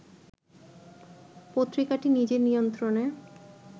পত্রিকাটি নিজের নিয়ন্ত্রণে